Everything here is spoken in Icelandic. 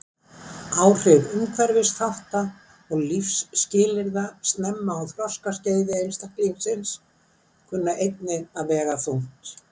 Áhrif umhverfisþátta og lífsskilyrða snemma á þroskaskeiði einstaklingsins kunna einnig að vega þungt.